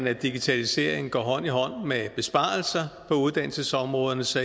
at digitaliseringen går hånd i hånd med besparelser på uddannelsesområdet så